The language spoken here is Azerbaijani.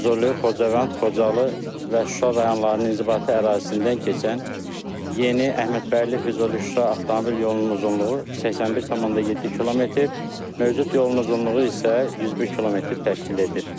Füzuli, Xocavənd, Xocalı və Şuşa rayonlarının inzibati ərazisindən keçən yeni Əhmədbəyli, Füzuli, Şuşa avtomobil yolunun uzunluğu 81,7 km, mövcud yolun uzunluğu isə 101 km təşkil edir.